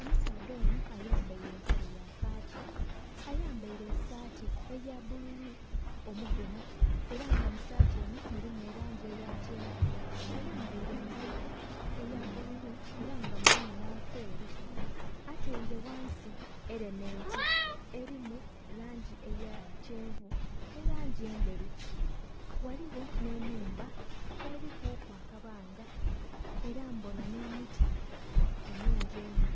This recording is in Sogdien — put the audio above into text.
Omusaadha onho ayambaile empale ya kaaki, ayambaile esaati eya bbululu omugemu era nga mu saati eno mulimu elangi eya kyenvu. Ayambaile engaito eya bbululu era nga mulimu nh'akeeru. Ataile ghansi elementi, elimu langi eya kyenvu nhi langi endheru. Ghaligho nh'enhumba elikuku akabanga era mbona nh'emiti emingi einho.